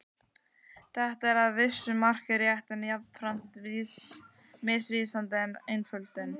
Þetta er að vissu marki rétt en jafnframt misvísandi einföldun.